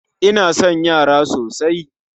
Ina son yara sosai